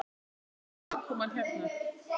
Þórir: Hvernig var aðkoman hérna?